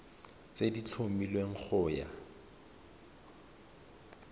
tse di tlhomilweng go ya